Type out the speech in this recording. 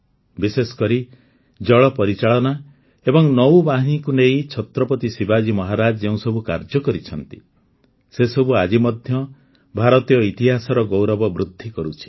ବିଶେଷକରି ଜଳ ପରିଚାଳନା ଏବଂ ନୌବାହିନୀକୁ ନେଇ ଛତ୍ରପତି ଶିବାଜୀ ମହାରାଜ ଯେଉଁ ସବୁ କାର୍ଯ୍ୟ କରିଛନ୍ତି ସେସବୁ ଆଜି ମଧ୍ୟ ଭାରତୀୟ ଇତିହାସର ଗୌରବ ବୃଦ୍ଧି କରୁଛି